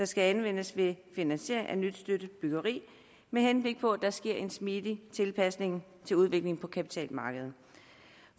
skal anvendes ved finansiering af nyt støttet byggeri med henblik på at der sker en smidig tilpasning til udviklingen på kapitalmarkedet